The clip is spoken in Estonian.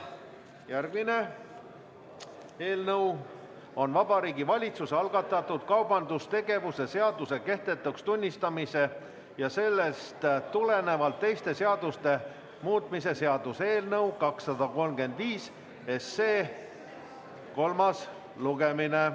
Järgmine eelnõu on Vabariigi Valitsuse algatatud kaubandustegevuse seaduse kehtetuks tunnistamise ja sellest tulenevalt teiste seaduste muutmise seaduse eelnõu 235 kolmas lugemine.